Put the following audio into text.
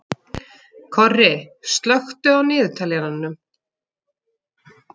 Korri, slökktu á niðurteljaranum.